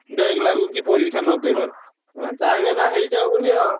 Back ଲାଗୁକି ପରୀକ୍ଷା ନ ଦେଇ ପାରୁ। ଏମାନେ ଚାହିଁବେନା ହେଇଯାଉ ବୋଲି ଆଉ।